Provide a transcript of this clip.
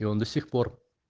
и он до сих пор